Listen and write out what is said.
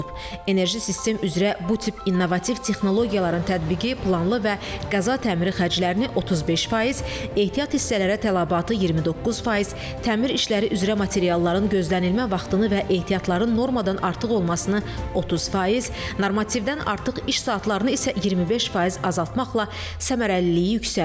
Enerji sistem üzrə bu tip innovativ texnologiyaların tətbiqi planlı və qəza təmiri xərclərini 35%, ehtiyat hissələrə tələbatı 29%, təmir işləri üzrə materialların gözlənilmə vaxtını və ehtiyatların normadan artıq olmasını 30%, normativdən artıq iş saatlarını isə 25% azaltmaqla səmərəliliyi yüksəldir.